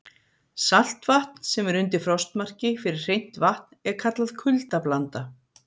Saltvatn sem er undir frostmarki fyrir hreint vatn er kallað kuldablanda.